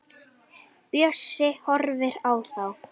Bjössi horfir á þá.